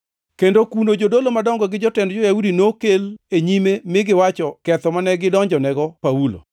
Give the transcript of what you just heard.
kendo kuno jodolo madongo gi jotend jo-Yahudi nokel e nyime mi giwacho ketho mane gidonjonego Paulo.